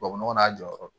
Tubabu nɔgɔ n'a jɔyɔrɔ do